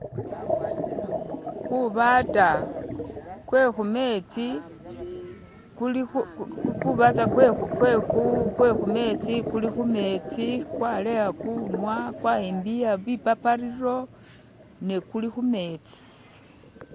kubaata kuhumetsi kuli humetsi kwaleya kunwa kwayimbiya bipapariro ne kulihumetsi